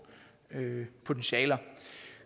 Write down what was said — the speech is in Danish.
potentialer